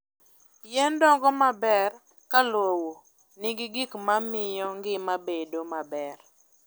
Yien dongo maber ka lowo nigi gik ma miyo ngima bedo maber.